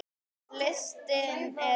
Listinn er langur.